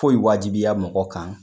Poyi wajibiya mɔgɔ kan